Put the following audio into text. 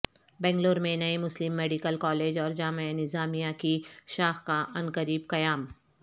بنگلور میں نئے مسلم میڈیکل کالج اور جامعہ نظامیہ کی شاخ کا عنقریب قیام